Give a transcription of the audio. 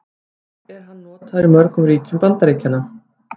Hvað er hann notaður í mörgum ríkjum Bandaríkjanna?